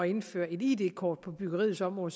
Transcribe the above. indføre et id kort på byggeriets område